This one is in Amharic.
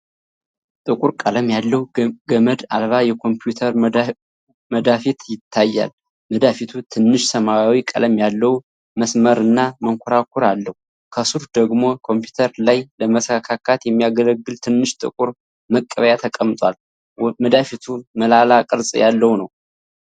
ጥቁር ቀለም ያለው ገመድ አልባ የኮምፒውተር መዳፊት ይታያል። መዳፊቱ ትንሽ ሰማያዊ ቀለም ያለው መስመርና መንኮራኩር አለው። ከሥሩ ደግሞ ኮምፒውተር ላይ ለመሰካት የሚያገለግል ትንሽ ጥቁር መቀበያ ተቀምጧል። መዳፊቱ ሞላላ ቅርጽ ያለው ነው።